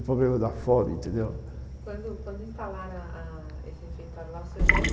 quando quando instalaram ah ah esse refeitório lá o senhor